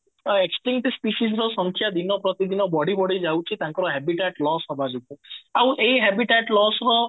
extending's species ର ସଂଖ୍ୟା ଦିନ ପ୍ରତି ଦିନ ବଢି ବଢି ଯାଉଛି ତାଙ୍କର habitat loss ହବା ଯୋଗୁ ଆଉ ଏଇ habitat loss ର